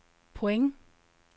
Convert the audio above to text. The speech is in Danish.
point